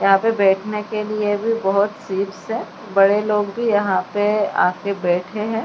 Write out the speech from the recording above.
यहां पे बैठने के लिए भी बहुत सीट्स है बड़े लोग भी यहां पर आकर बैठे हैं।